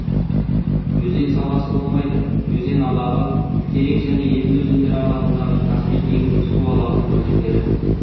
өзен саласы болмайды өзен алабы терек және еділ өзендері аралығындағы каспий теңізі су алабының өзендері